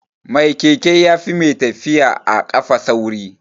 Mai keke yafi mai tafiya a kafa sauri